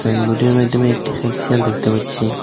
সাইনবোর্ডের মাধ্যমে একটি খেঁকশিয়াল দেখতে পাচ্ছি।